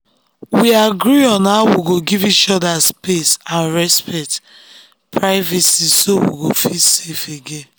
we agree on how we go give each other space and respect privacy so we go feel safe again.